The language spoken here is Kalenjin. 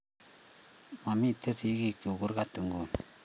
Ma mito sigik chug kurgat nguni